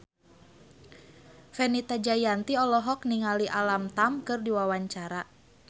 Fenita Jayanti olohok ningali Alam Tam keur diwawancara